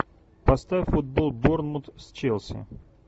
поставь футбол борнмут с челси